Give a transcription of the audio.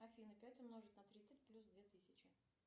афина пять умножить на тридцать плюс две тысячи